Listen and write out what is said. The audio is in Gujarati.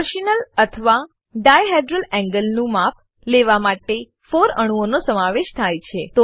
ટોર્શનલ અથવા ડાયહેડ્રલ એન્ગલ નું માપ લેવામાં 4 અણુઓનો સમાવેશ થાય છે